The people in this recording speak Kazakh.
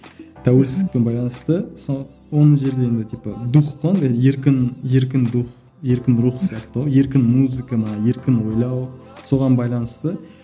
тәуелсіздікпен байланысты сол типа дух қой андай еркін еркін дух еркін рух сияқты ғой еркін музыка ма еркін ойлау соған байланысты